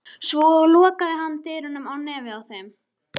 Svo lokaði hann dyrunum á nefið á þeim.